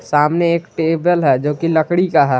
सामने एक टेबल है जो की लकड़ी का है।